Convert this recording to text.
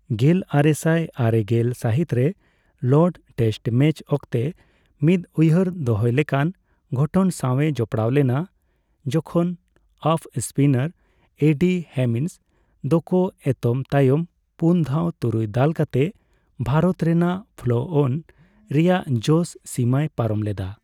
ᱜᱮᱞᱟᱨᱮᱥᱟᱭ ᱟᱨᱮᱜᱮᱞ ᱥᱟᱹᱦᱤᱛ ᱨᱮ ᱞᱚᱨᱰᱥ ᱴᱮᱥᱴ ᱢᱮᱪ ᱚᱠᱛᱮ ᱢᱤᱫ ᱩᱭᱦᱟᱹᱨ ᱫᱚᱦᱚᱭ ᱞᱮᱠᱟᱱ ᱜᱷᱚᱴᱚᱱ ᱥᱟᱣᱮ ᱡᱚᱯᱲᱟᱣ ᱞᱮᱱᱟ, ᱡᱚᱠᱷᱚᱱ ᱚᱯᱷᱼᱥᱯᱤᱱᱟᱨ ᱮᱰᱤ ᱦᱮᱢᱤᱝᱥ ᱫᱚᱠᱚ ᱮᱛᱚᱢ ᱛᱟᱭᱚᱢ ᱯᱩᱱ ᱫᱷᱟᱣ ᱛᱩᱨᱩᱭ ᱫᱟᱞ ᱠᱟᱛᱮ ᱵᱷᱟᱨᱚᱛ ᱨᱮᱱᱟᱜ ᱯᱷᱚᱞᱳᱼᱚᱱ ᱨᱮᱭᱟᱜ ᱡᱚᱥᱼᱥᱤᱢᱟᱹᱭ ᱯᱟᱨᱚᱢ ᱞᱮᱫᱟ ᱾